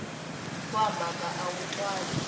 wa mhaka a wu twali